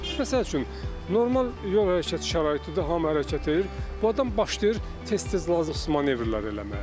Məsəl üçün, normal yol hərəkəti şəraitidir, hamı hərəkət edir, bu adam başlayır tez-tez lazımsız manevrlər eləməyə.